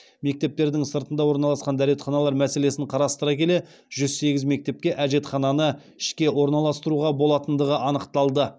мектептердің сыртында орналасқан дәретханалар мәселесін қарастыра келе жүз сегіз мектепке әжетхананы ішке орналастыруға болатындығы анықталды